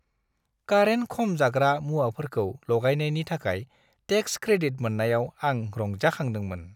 कारेन्ट-खम जाग्रा मुवाफोरखौ लगायनायनि थाखाय टेक्स क्रेडिट मोन्नायाव आं रंजाखांदोंमोन।